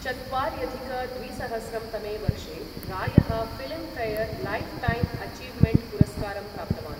चत्वार्यधिक द्विसहस्रं तमे वर्षे रॉयः फिल्मफेयर लाइफटाइम् अचीवमेण्ट् पुरस्कारं प्राप्तवान् ।